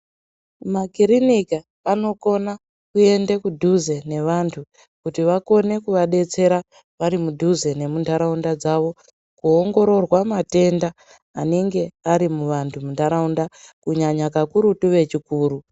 Makirinika anokona kuende kudhuze nevanthu kuti vakone kuvadetsera vari mudhuze nemuntaraunda dzavo, kuongororwa matenda anenge ari muvanthu muntaraunda kunyanya kakurutu vechikuru.